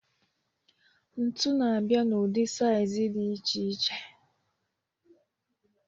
Ntu na-abịa n'ụdị saịzị dị iche iche.